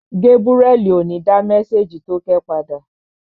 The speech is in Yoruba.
Gébúrẹ́li ò ní dá mésèjì tókẹ́ padà